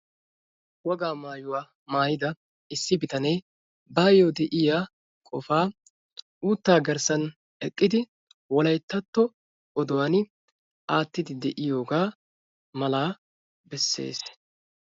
Wogaa maayuwu maayida issi bitaanee baayyo de'iya qofa uutta garssan eqqidi wolayttatto oduwan aattide de'iyooga mala beessees.